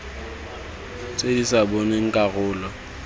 tse di sa bopeng karolo